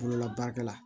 Bolola baarakɛla